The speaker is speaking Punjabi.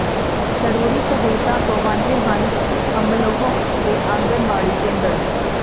ਜ਼ਰੂਰੀ ਸਹੂਲਤਾਂ ਤੋਂ ਵਾਂਝੇ ਹਨ ਅਮਲੋਹ ਦੇ ਆਂਗਣਵਾੜੀ ਕੇਂਦਰ